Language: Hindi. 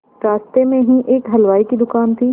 रास्ते में ही एक हलवाई की दुकान थी